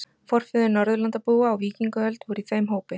Forfeður Norðurlandabúa á víkingaöld voru í þeim hópi.